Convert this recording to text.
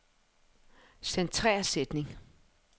Centrer sætning.